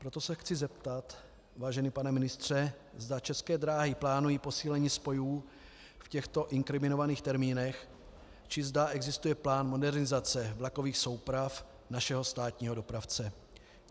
Proto se chci zeptat, vážený pane ministře, zda České dráhy plánují posílení spojů v těchto inkriminovaných termínech či zda existuje plán modernizace vlakových souprav našeho státního dopravce.